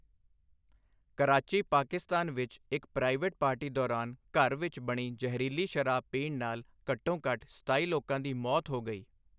ਕਰਾਚੀ, ਪਾਕਿਸਤਾਨ ਵਿੱਚ ਇੱਕ private party ਦੌਰਾਨ ਘਰ ਵਿੱਚ ਬਣੀ ਜ਼ਹਿਰੀਲੀ ਸ਼ਰਾਬ ਪੀਣ ਨਾਲ ਘੱਟੋ ਘੱਟ ਸਤਾਈ ਲੋਕਾਂ ਦੀ ਮੌਤ ਹੋ ਗਈ।